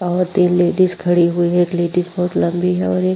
और तीन लेडीज खड़ी हुई है। एक लेडीज बहोत लंबी है और एक --